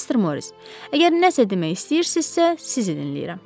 Mister Moris, əgər nəsə demək istəyirsizsə, sizi dinləyirəm.